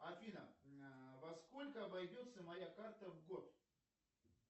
афина во сколько обойдется моя карта в год